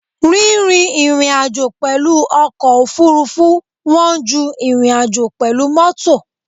Rírìn ìrìnàjò pẹ̀lú ọkọ̀ òfurufú wọ́n ju ìrìnàjò pẹ̀lú mọ́tò.